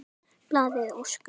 Blaðið óskar